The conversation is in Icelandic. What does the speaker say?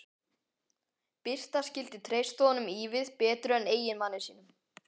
Birta skyldi treysta honum ívið betur en eiginmanni sínum.